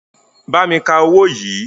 Bámi ka owó yìí.